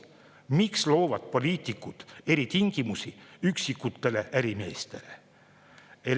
Miks loovad poliitikud eritingimusi üksikutele ärimeestele?